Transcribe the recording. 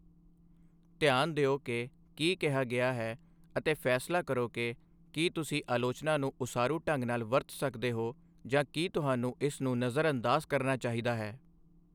ਧਿਆਨ ਦਿਓ ਕਿ ਕੀ ਕਿਹਾ ਗਿਆ ਹੈ ਅਤੇ ਫ਼ੈਸਲਾ ਕਰੋ ਕਿ ਕੀ ਤੁਸੀਂ ਆਲੋਚਨਾ ਨੂੰ ਉਸਾਰੂ ਢੰਗ ਨਾਲ ਵਰਤ ਸਕਦੇ ਹੋ ਜਾਂ ਕੀ ਤੁਹਾਨੂੰ ਇਸ ਨੂੰ ਨਜ਼ਰਅੰਦਾਜ਼ ਕਰਨਾ ਚਾਹੀਦਾ ਹੈ।